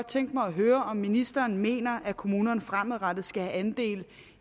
tænke mig at høre om ministeren mener at kommunerne fremadrettet skal have andel